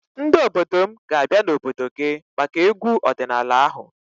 Ndị obodo m ga-abịa n'obodo gị maka egwu ọdịnaala ahụ.